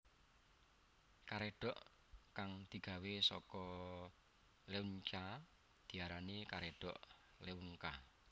Karédhok kang digawé saka leunca diarani karedhok leunca